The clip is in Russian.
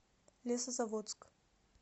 лесозаводск